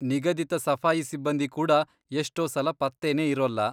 ನಿಗದಿತ ಸಫಾಯಿ ಸಿಬ್ಬಂದಿ ಕೂಡ ಎಷ್ಟೋ ಸಲ ಪತ್ತೆನೇ ಇರೋಲ್ಲ.